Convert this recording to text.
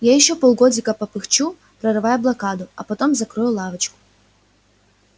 я ещё полгодика попыхчу прорывая блокаду а потом закрою лавочку